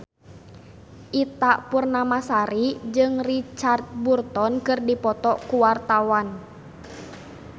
Ita Purnamasari jeung Richard Burton keur dipoto ku wartawan